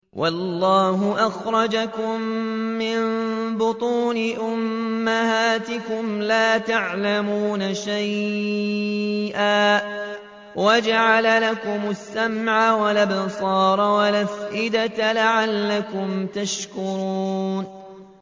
وَاللَّهُ أَخْرَجَكُم مِّن بُطُونِ أُمَّهَاتِكُمْ لَا تَعْلَمُونَ شَيْئًا وَجَعَلَ لَكُمُ السَّمْعَ وَالْأَبْصَارَ وَالْأَفْئِدَةَ ۙ لَعَلَّكُمْ تَشْكُرُونَ